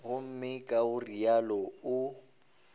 gomme ka go realo o